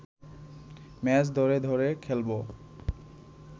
match ধরে ধরে খেলব